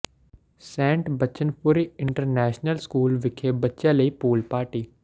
Saint Bachanpuri international school ਵਿਖੇ ਬੱਚਿਆਂ ਲਈ ਪੂਲ ਪਾਰਟੀ